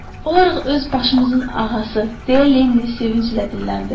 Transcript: Olarıq öz başımızın ağası, deyə Lenni sevinclə dilləndi.